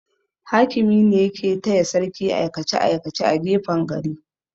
Hakimi ne yake taya sarki aikace-aikace a gefen gari.